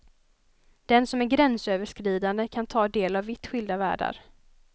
Den som är gränsöverskridande kan ta del av vitt skilda världar.